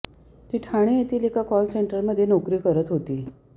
ती ठाणे येथील एका कॉल सेंटरमध्ये नोकरी करत होती